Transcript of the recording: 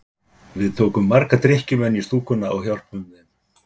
Við tókum marga drykkjumenn í stúkuna og hjálpuðum þeim.